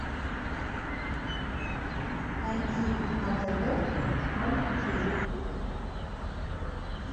найди на тв ноль три